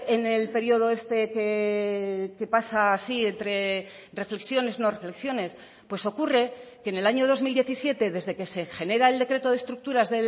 en el periodo este que pasa así entre reflexiones no reflexiones pues ocurre que en el año dos mil diecisiete desde que se genera el decreto de estructuras